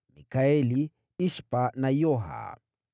Mikaeli, Ishpa, na Yoha.